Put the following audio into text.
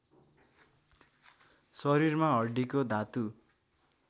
शरीरमा हड्डीको धातु